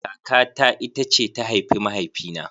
Kaka ta ita ce ta haifi mahaifi na